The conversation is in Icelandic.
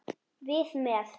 Við með.